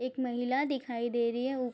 एक महिला दिखाई दे रही है उ --